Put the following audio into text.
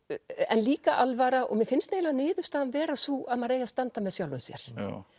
en líka alvara og mér finnst eiginlega niðurstaðan vera sú að maður eigi að standa með sjálfum sér